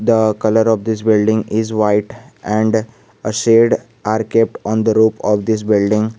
the colour of this building is white and shed are kept on the roof of this building.